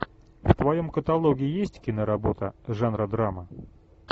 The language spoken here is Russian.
в твоем каталоге есть киноработа жанра драма